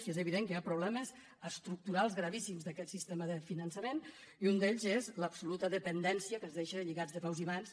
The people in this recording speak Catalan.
i és evident que hi ha problemes estructurals gravíssims d’aquest sistema de finançament i un d’ells és l’absoluta dependència que ens deixa lligats de peus i mans